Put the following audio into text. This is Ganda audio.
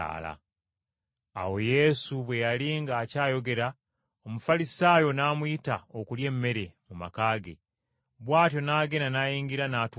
Awo Yesu bwe yali ng’akyayogera, Omufalisaayo n’amuyita okulya emmere mu maka ge, bw’atyo n’agenda n’ayingira n’atuula okulya.